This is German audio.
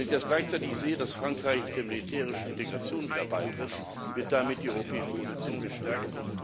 Wenn ich gleichzeitig sehe, dass Frankreich der militärischen Integration wieder beitritt, dann wird damit die europäische Position gestärkt.